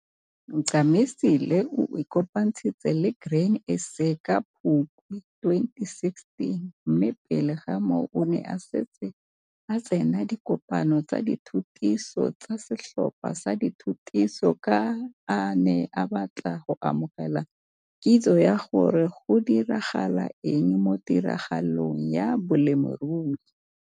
Ncamisile o ikopantshitse le Grain SA ka Phukwi 2016, mme pele ga moo o ne a setse a tsena dikopano tsa dithutiso tsa setlhopha sa dithutiso ka a ne a batla go amogela kitso ya gore go diragala eng mo tiragalong ya bolemirui.